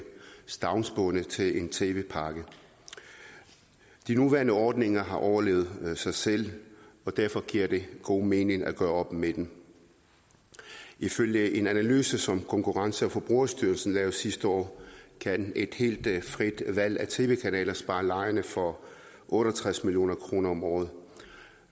stavnsbundet til en tv pakke de nuværende ordninger har overlevet sig selv og derfor giver det god mening at gøre op med dem ifølge en analyse som konkurrence og forbrugerstyrelsen lavede sidste år kan et helt frit valg af tv kanaler spare lejerne for otte og tres million kroner om året